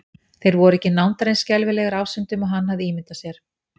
Þeir voru ekki nándar eins skelfilegir ásýndum og hann hafði ímyndað sér.